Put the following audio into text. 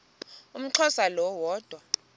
umxhosa lo woda